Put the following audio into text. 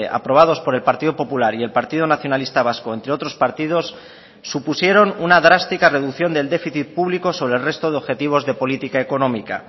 aprobados por el partido popular y el partido nacionalista vasco entre otros partidos supusieron una drástica reducción del déficit público sobre el resto de objetivos de política económica